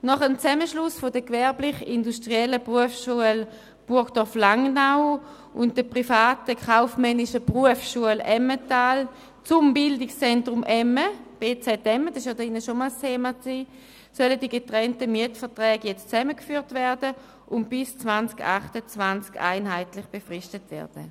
Nach dem Zusammenschluss der Gewerblich-industriellen Berufsschule Burgdorf-Langnau und der privaten Kaufmännischen Berufsschule Emmental zum bz emme – das war in diesem Saal bereits einmal ein Thema – sollen die getrennten Mietverträge jetzt zusammengeführt und bis 2028 einheitlich befristet werden.